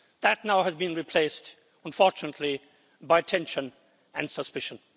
That now has been replaced, unfortunately, by tension and suspicion.